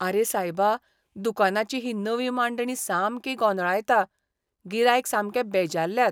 आरे सायबा, दुकानाची ही नवी मांडणी सामकी गोंदळायता. गिरायक सामके बेजारल्यात.